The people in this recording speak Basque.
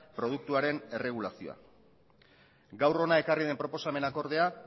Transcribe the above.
produktuaren erregulazioa gaur hona ekarri den proposamenak ordea